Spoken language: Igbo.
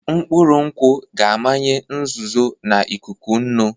Mkpụrụ nkwụ ga-amanye nzuzo na ikuku nnu.